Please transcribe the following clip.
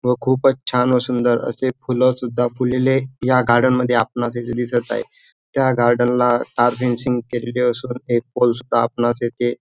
व खूपच छान व सुंदर असे फूल सुद्धा फुलले या गार्डन मध्ये आपणास येथे दिसत आहे त्या गार्डन ला तार फेंसिन्ग केलेले असून एक पोल सुद्धा आपणास येथे--